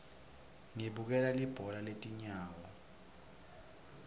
ngibukela libhola letinyawo